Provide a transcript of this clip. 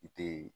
I te